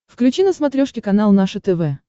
включи на смотрешке канал наше тв